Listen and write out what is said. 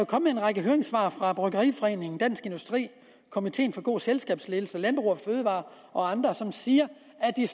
kommet en række høringssvar fra bryggeriforeningen dansk industri komiteen for god selskabsledelse landbrug fødevarer og andre som siger at de